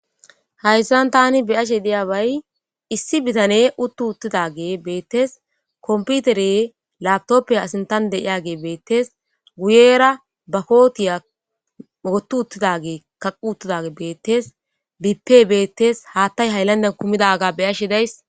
Hayssan tani beyashe deyaa bay issi bitane uttu uttidage beettes komputere latoppiya asintan deiyage beettes guyera bakootiya oottu uttidage kaqu uttidage beettes bipe beettes haattay hayllanden kumidaga beyashe days.